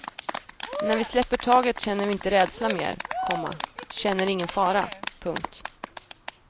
När vi släpper taget känner vi inte rädsla mer, komma känner ingen fara. punkt